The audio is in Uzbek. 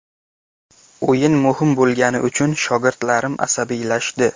O‘yin muhim bo‘lgani uchun shogirdlarim asabiylashdi.